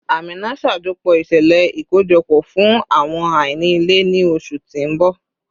Amina, ṣajọpọ iṣẹlẹ ikojọpọ fun awọn aini ile ni oṣu ti n bọ